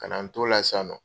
Ka na n to la sisan nɔ.